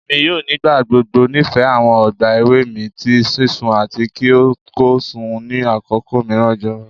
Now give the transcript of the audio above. Emi yoo nigbagbogbo nifẹ awọn ọgba ewe mi ti sisun ati ki o ko sun ni akoko miiran jọwọ